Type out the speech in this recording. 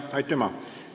Aitüma!